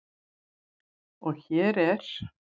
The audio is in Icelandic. Og hér er